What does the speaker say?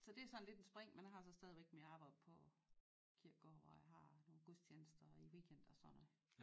Så det sådan lidt en spring men har så stadigvæk mit arbejde på kirkegård hvor jeg har nogle gudstjenester i weekend og sådan noget